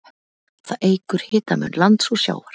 Það eykur hitamun lands og sjávar.